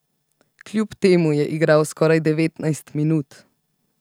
Kljub temu je igral skoraj devetnajst minut.